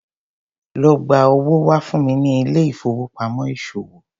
Lo gba owó wá fún mi ní ilé ìfowópamọ́ ìṣòwò.